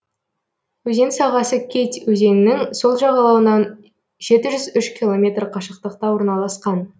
өзен сағасы кеть өзенінің сол жағалауынан жеті жүз үш километр қашықтықта орналасқан